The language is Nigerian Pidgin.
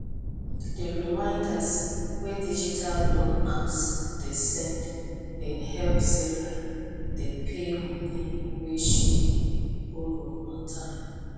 di reminders wey digital loan apps dey send bin help sarah dey pay money wey she borrow on time